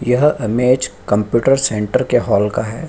यह image computer centre के hall का है।